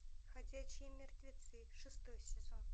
ходячие мертвецы шестой сезон